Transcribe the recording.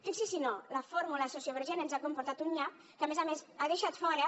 fixi s’hi si no la fórmula sociovergent ens ha comportat un nyap que a més a més ha deixat fora